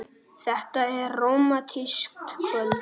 Þetta er rómantískt kvöld.